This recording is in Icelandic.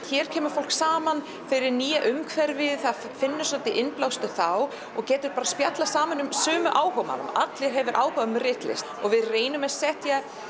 hér kemur fólk saman í nýju umhverfi það finnur svolítinn innblástur þá og getur bara spjallað saman um sömu áhugamál allir hafa áhuga á ritlist og við reynum að setja